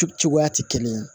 Cogoya ti kelen ye